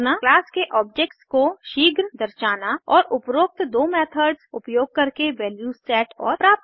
class के objects को शीघ्र दर्शाना और उपरोक्त दो मेथड्स उपयोग करके वैल्यूज सेट और प्राप्त करना